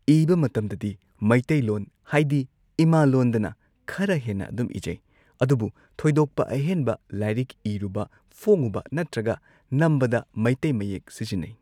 ꯏꯕ ꯃꯇꯝꯗꯗꯤ ꯃꯩꯇꯩꯂꯣꯟ ꯍꯥꯏꯗꯤ ꯏꯃꯥꯂꯣꯟꯗꯅ ꯈꯔ ꯍꯦꯟꯅ ꯑꯗꯨꯝ ꯏꯖꯩ ꯑꯗꯨꯕꯨ ꯊꯣꯏꯗꯣꯛꯄ ꯑꯍꯦꯟꯕ ꯂꯥꯏꯔꯤꯛ ꯏꯔꯨꯕ ꯐꯣꯡꯉꯨꯕ ꯅꯠꯇ꯭ꯔꯒ ꯅꯝꯕꯗ ꯃꯩꯇꯩ ꯃꯌꯦꯛ ꯁꯤꯖꯤꯟꯅꯩ꯫